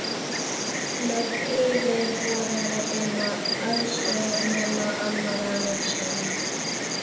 Nöfn yfirboðara þinna, aðstoðarmanna, annarra njósnara.